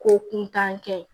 Ko kuntan kɛ